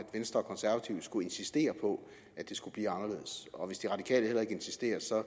venstre og konservative skulle insistere på at det skulle blive anderledes og hvis de radikale heller ikke insisterer så